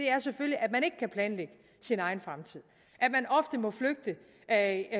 er selvfølgelig at man ikke kan planlægge sin egen fremtid at